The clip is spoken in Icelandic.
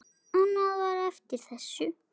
Annað var eftir þessu.